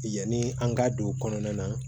Yanni an ka don kɔnɔna na